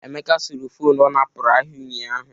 Emeka suru fonu ọ napụrụ ahịa ụnyaahụ.